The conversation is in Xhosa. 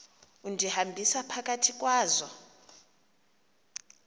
undihambisa phakathi kwazo